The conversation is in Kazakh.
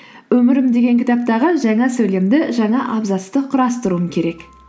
өмірім деген кітаптағы жаңа сөйлемді жаңа абзацты құрастыруым керек